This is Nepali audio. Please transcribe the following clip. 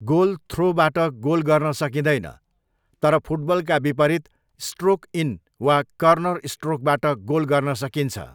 गोल थ्रोबाट गोल गर्न सकिँदैन, तर फुटबलका विपरीत, स्ट्रोक इन वा कर्नर स्ट्रोकबाट गोल गर्न सकिन्छ।